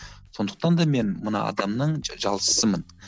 сондықтан да мен мына адамның жалшысымын